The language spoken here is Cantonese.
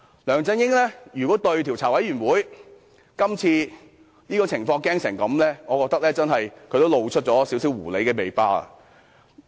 梁振英如果如此害怕專責委員會今次的調查，我覺得他露出了一點狐狸尾巴。